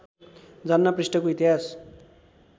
जान्न पृष्ठको इतिहास